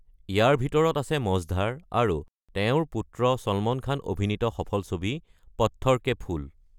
ইয়াৰ ভিতৰত আছে মজধাৰ আৰু তেওঁৰ পুত্ৰ চলমান খান অভিনীত সফল ছবি পথ্থৰ কে ফুল।